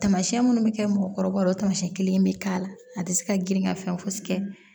Taamasiyɛn minnu bɛ kɛ mɔgɔkɔrɔbaw tamasiyɛn kelen in bɛ k'a la a tɛ se ka girin ka fɛn fosi kɛ